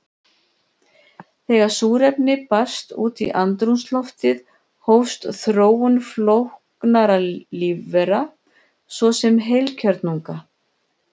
Þegar súrefni barst út í andrúmsloftið hófst þróun flóknara lífvera, svo sem heilkjörnunga.